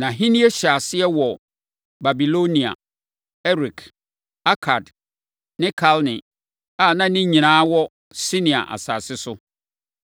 Nʼahennie hyɛɛ aseɛ wɔ Babilonia, Erek, Akad ne Kalne a, ne nyinaa wɔ Sinear + 10.10 Sinear kyerɛ tete Babilonia. asase so.